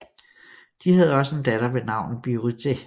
De havde også en datter med navn Birutė